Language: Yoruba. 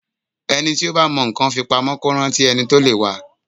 Ẹni tí ó bá mọ nǹkan fi pamọ́ kó rántí ẹni tí ó lè wa.